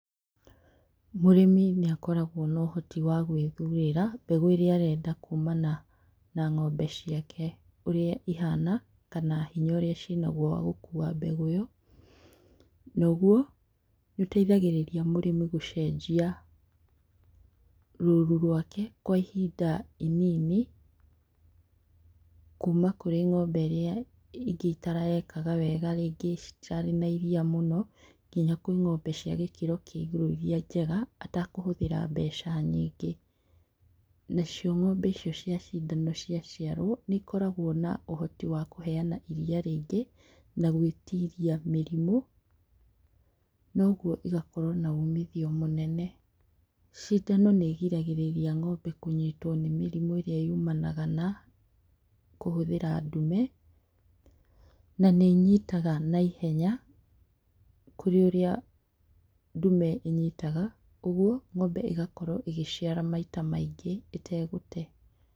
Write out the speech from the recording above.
Mũrĩmi nĩ akoraguo na ũhoti wa gwĩthurĩra mbegũ ĩrĩa arenda kumana na ng'ombe ciake ũrĩa ĩhana, kana hinya ũrĩa cinaguo wa gũkuwa mbegũ ĩyo, noguo nĩ ũteithagĩrĩria mũrĩmi gũcenjia, rũru rwake kwa ihinda inini, kuma kũrĩ ngombe iria itarekaga wega rĩngĩ citirarĩ na iria mũno, ngina kwĩ ng'ombe cia gĩkĩro kĩa igũru iria njega atekũhũthĩra mbeca nyingĩ, nacio ng'ombe icio cĩa cindano cĩa ciarwo nĩcikoraguo na ũhoti wa kũheana iria rĩingĩ, na gwĩtiria mĩrimũ, noguo igakorwo na uumithio mũnene, cindano nĩ ĩgiragĩrĩria ng'ombe kũnyituo nĩ mĩrimũ ĩrĩa yumanaga na, kũhuthĩra ndume, na nĩnyitaga na ihenya, kũrĩ ũrĩa ndume ĩnyitaga ũguo ng'ombe ĩgakorwo ĩgĩciara maita maingĩ ĩtegũte